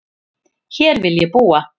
Hér vil ég búa